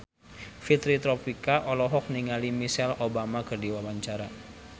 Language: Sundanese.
Fitri Tropika olohok ningali Michelle Obama keur diwawancara